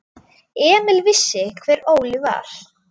Emil vissi hver Óli var.